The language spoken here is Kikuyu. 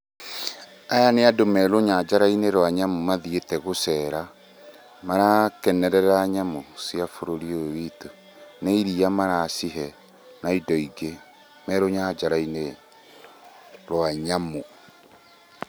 Aya nĩ andũ me rũnyanjara-inĩ rwa nyamũ mathiĩte gũcera, marakenerera nyamũ cia bũrũri ũyũ witũ. Ni iria maracihe na indo ingĩ, me rũnyanjara-inĩ rwa nyamũ.